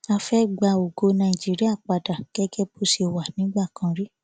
a fẹ ẹ gba ògo nàìjíríà padà gẹgẹ bó ṣe wà nígbà kan rí